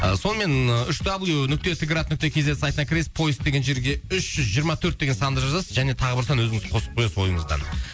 сонымен үш даблю нүкте т град нүкте кз сайтына кіресіз поиск деген жерге үш жүз жиырма төрт деген санды жазасыз және тағы бір сан өзіңіз қосып қоясыз ойыңыздан